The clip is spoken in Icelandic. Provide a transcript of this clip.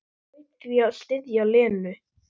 Hlaut því að styðja Lenu.